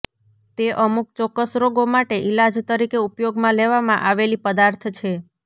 તે અમુક ચોક્કસ રોગો માટે ઇલાજ તરીકે ઉપયોગમાં લેવામાં આવેલી પદાર્થ છે